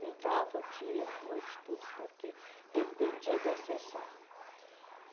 dia, noite, tudo, porque dependia da sessão.